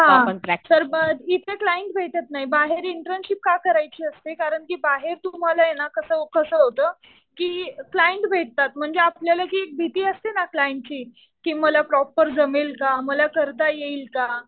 हा. तर मग तिथे क्लाइंट भेटत नाही. बाहेर इंटर्नशिप का करायची असते. कारण कि बाहेर तुम्हाला ना कसं होतं कि क्लाइंट भेटतात. म्हणजे आपल्याला जी भीती असते ना क्लाइंटची कि मला प्रॉपर जमेल का? मला करता येईल का?